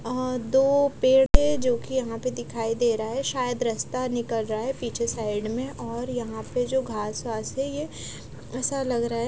और दो पेड़ है जो कि यहां पर दिखाई दे रहा है। शायद रास्ता निकल रहा है पीछे साइड में और यहां पर जो घास-वास है ऐसा लग रहा है।